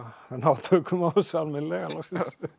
ná tökum á þessu almennilega loksins